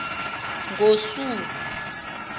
ngosuku